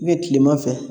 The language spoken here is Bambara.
kilema fɛ